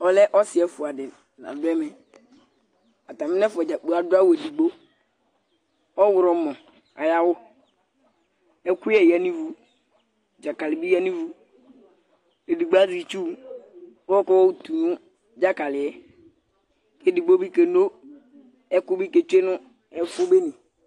Ɔlɛ ɔsi ɛfua di la dʋ ɛmɛ, atami n'ɛfua yɛ dzaa adʋ awʋ edigbo Ɔɣlɔmɔ ay'awʋ, ɛkʋyɛ ya n'ivu, dzakali bi yǝ n'ivu, edigbo azɛ itsu k'ɔkayɔ tu nʋ dzakali yɛ, k'edigbo bi keno ɛkʋ bi k'etsoe nʋ ɛfʋbene